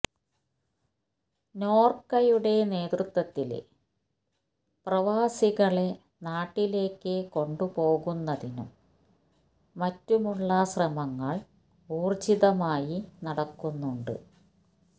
നോര്ക്കയുടെ നേതൃത്വത്തില് പ്രവാസികളെ നാട്ടിലേക്ക് കൊണ്ടുപോകുന്നതിനും മറ്റുമുള്ള ശ്രമങ്ങള് ഊര്ജിതമായി നടക്കുന്നുണ്ട്